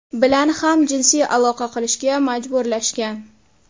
bilan ham jinsiy aloqa qilishga majburlashgan.